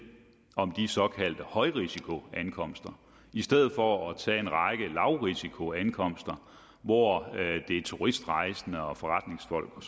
om de såkaldte højrisikoankomster i stedet for at tage en række lavrisikoankomster hvor det er turistrejsende og forretningsfolk og